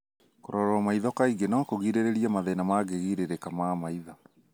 Kũrorwo maitho kaingĩ no kũgirĩrĩrie mathina mangĩgirĩrĩka ma maitho.